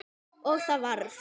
Og það varð.